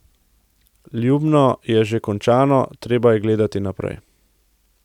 Ljubno je že končano, treba je gledati naprej.